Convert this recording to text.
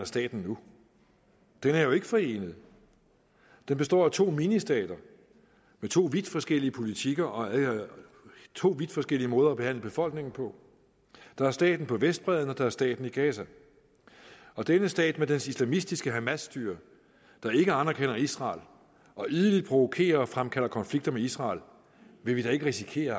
staten nu den er jo ikke forenet den består af to ministater med to vidt forskellige politikker og to vidt forskellige måder at behandle befolkningen på der er staten på vestbredden og der er staten i gaza og denne stat med dens islamistiske hamasstyre der ikke anerkender israel og idelig provokerer og fremkalder konflikter med israel vil vi da ikke risikere at